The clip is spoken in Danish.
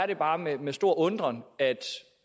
det bare med med stor undren at